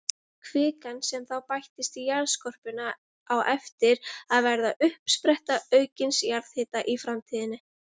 Kvikan sem þá bættist í jarðskorpuna á eftir að verða uppspretta aukins jarðhita í framtíðinni.